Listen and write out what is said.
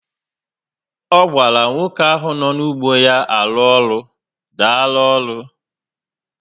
O gwara nwoke ahụ nọ nu ụgbọ ya arụ ọrụ, Daalu oru